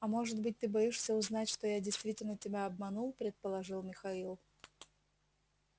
а может быть ты боишься узнать что я действительно тебя обманул предположил михаил